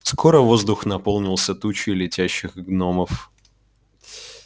скоро воздух наполнился тучей летящих гномов